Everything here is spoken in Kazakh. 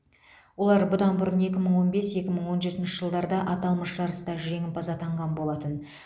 олар бұдан бұрын екі мың он бес екі мың он жеті жылдарда аталмыш жарыста жеңімпаз атанған болатын